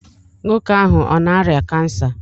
Nwoke ahụ ọ na-arịa kansa?